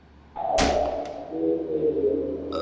அட சரி சரி okay